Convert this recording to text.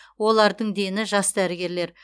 олардың дені жас дәрігерлер